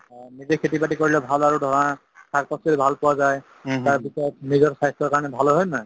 অ, নিজে খেতি-বাতি কৰিলে ভাল আৰু ধৰা শাক-পাচলি ভাল পোৱা যায় তাৰপিছত নিজৰ স্বাস্থ্যৰ কাৰণে ভাল হয় হয়নে নাই